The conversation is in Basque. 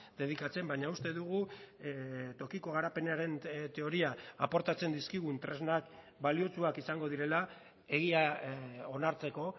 dedikatzen baina uste dugu tokiko garapenaren teoria aportatzen dizkigun tresnak baliotsuak izango direla egia onartzeko